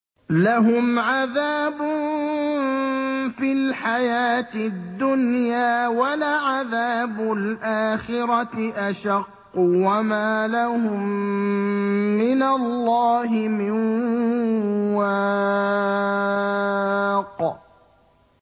لَّهُمْ عَذَابٌ فِي الْحَيَاةِ الدُّنْيَا ۖ وَلَعَذَابُ الْآخِرَةِ أَشَقُّ ۖ وَمَا لَهُم مِّنَ اللَّهِ مِن وَاقٍ